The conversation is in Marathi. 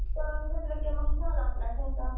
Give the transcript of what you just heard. mix करून घेतलं की मग झाला आपला ठसा